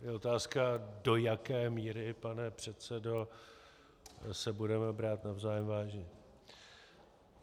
Je otázka, do jaké míry, pane předsedo, se budeme brát navzájem vážně.